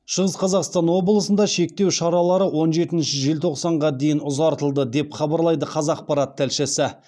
шығыс қазақстан облысында шектеу шаралары он жетінші желтоқсанға дейін ұзартылды деп хабарлайды қазақпарат тілшісі